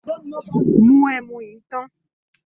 Mu ẹmu yìí tán.